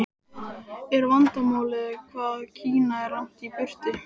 Er vandamálið hvað Kína er langt í burtu?